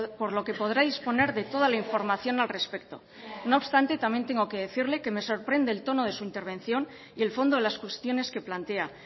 por lo que podrá disponer de toda la información al respecto no obstante también tengo que decirle que me sorprende el tono de su intervención y el fondo de las cuestiones que plantea